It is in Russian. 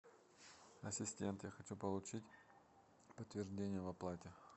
ассистент я хочу получить подтверждение об оплате